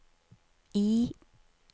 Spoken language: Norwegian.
I